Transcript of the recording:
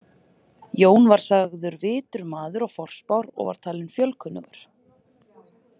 Jón var sagður vitur maður og forspár og var talinn fjölkunnugur.